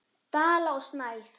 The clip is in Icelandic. Dala og Snæf.